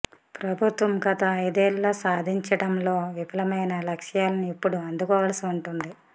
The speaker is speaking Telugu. ప్రభుత్వం గత ఐదేళ్లలో సాధించడంలో విఫలమైన లక్ష్యాలను ఇప్పుడు అందుకోవాల్సి ఉంటుంది